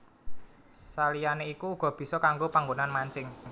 Saliyané iku uga bisa kanggo panggonan mancing